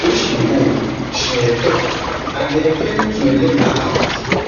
wey she dey owe she um tok and den failing to um let her out